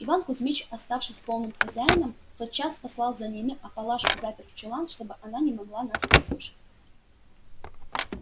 иван кузмич оставшись полным хозяином тотчас послал за нами а палашку запер в чулан чтоб она не могла нас подслушать